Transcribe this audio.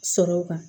Sɔrɔ kan